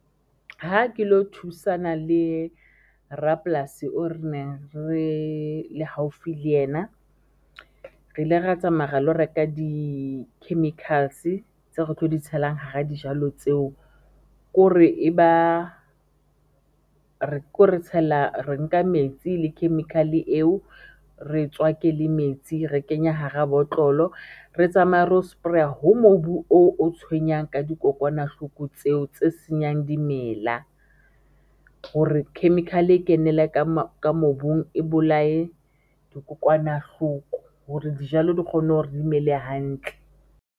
Ha ke lo thusana le rapolasi o re neng re le haufi le yena, re ile ra tsamaya ra lo reka di chemicals tseo re tlo di tshelang hara dijalo tseo, re tshela, re nka metsi le chemical-e eo re tswake le metsi re kenya hara botlolo, re tsamaya ro spray-er ho mobu oo o tshwenyang ka dikokwanahloko tseo tse senyang dimela hore chemical-e e kenele ka mobung e bolaye dikokwanahloko hore dijalo di kgone hore re dimele hantle.